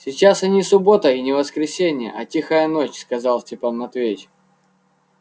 сейчас и не суббота и не воскресенье а тихая ночь сказал степан матвеевич